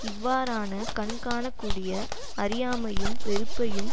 இவ்வாறான கண்காணக்கூடிய அறியாமையும் வெறுப்பையும்